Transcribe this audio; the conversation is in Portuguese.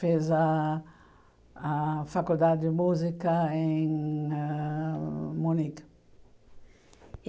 Fez a a faculdade de música em ãh Munique.